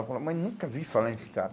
Eu falei, mas nunca vi falar em Scala.